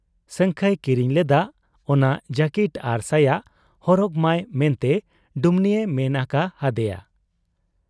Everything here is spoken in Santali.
ᱥᱟᱹᱝᱠᱷᱟᱹᱭ ᱠᱤᱨᱤᱧ ᱞᱮᱫᱟᱜ ᱚᱱᱟ ᱡᱟᱹᱠᱤᱴ ᱟᱨ ᱥᱟᱭᱟ ᱦᱚᱨᱚᱜᱽᱢᱟᱭ ᱢᱮᱱᱛᱮ ᱰᱩᱢᱱᱤᱭᱮ ᱢᱮᱱ ᱟᱠᱟ ᱦᱟᱫᱮᱭᱟ ᱾